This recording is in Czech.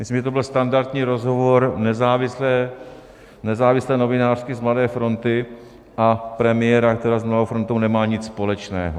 Myslím, že to byl standardní rozhovor nezávislé novinářky z Mladé fronty a premiéra, který s Mladou frontou nemá nic společného.